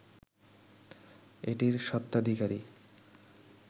এটির স্বত্বাধিকারী